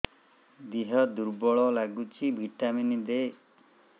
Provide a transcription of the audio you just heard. ଦିହ ଦୁର୍ବଳ ଲାଗୁଛି ଭିଟାମିନ ଦେ